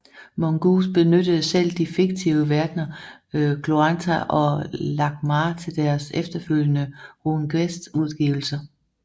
Mongoose benyttede selv de fiktive verdner Glorantha og Lankhmar til deres efterfølgende RuneQuest udgivelser